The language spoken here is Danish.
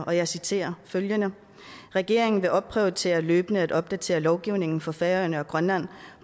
og jeg citerer følgende regeringen vil opprioritere løbende at opdatere lovgivningen for færøerne og grønland